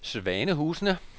Svanehusene